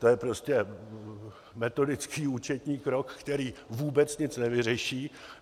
To je prostě metodický účetní krok, který vůbec nic nevyřeší.